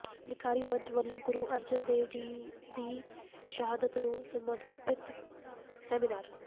ਲਿਖਾਰੀ ਮੰਚ ਵੱਲੋਂ ਗੁਰੂ ਅਰਜਨ ਦੇਵ ਦੀ ਸ਼ਹਾਦਤ ਨੂੰ ਸਮਰਪਿਤ ਸੈਮੀਨਾਰ